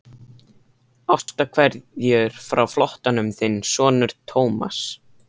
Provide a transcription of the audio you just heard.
Ástarkveðjur frá flóttanum, þinn sonur Thomas.